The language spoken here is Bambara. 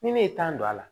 Ni ne ye don a la